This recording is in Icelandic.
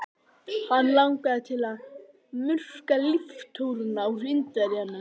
Hann langaði til að murka líftóruna úr Indverjanum.